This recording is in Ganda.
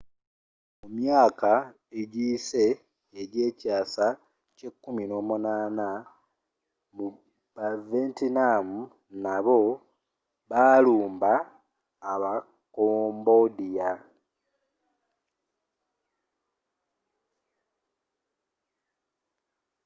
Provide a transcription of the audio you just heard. mu myaka egiyise egyekyaasa kye 18th mu bavietnam nabo baalumba aba cambodia